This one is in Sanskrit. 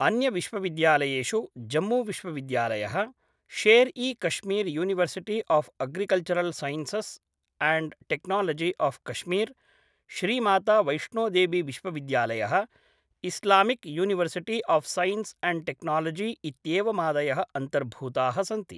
अन्यविश्वविद्यालयेषु जम्मूविश्वविद्यालयः, Sher e Kashmir university of agricultural sciences and technology of Kashmir, श्रीमातावैष्णोदेवीविश्वविद्यालयः, Islamic university of science and technology इत्येवमादयः अन्तर्भूताः सन्ति।